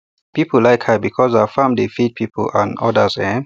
people like her because her farm dey feed people and others um